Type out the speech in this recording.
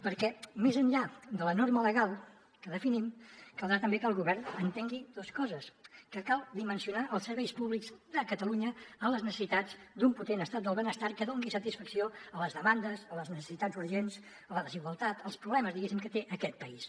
perquè més enllà de la norma legal que definim caldrà també que el govern entengui dues coses que cal dimensionar els serveis públics de catalunya a les necessitats d’un potent estat del benestar que doni satisfacció a les demandes a les necessitats urgents a la desigualtat als problemes diguéssim que té aquest país